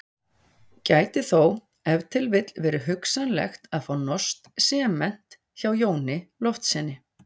Gæti þó ef til vill verið hugsanlegt að fá norskt sement hjá Jóni Loftssyni.